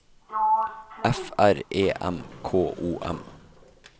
F R E M K O M